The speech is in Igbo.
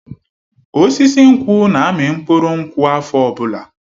Osisi nkwụ na-amị mkpụrụ nkwụ afọ ọbụla.